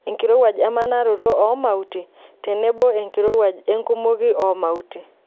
Enkirowuaj emanaroto oo mauti tenebo enkirowuaj enkumoki oo mauti.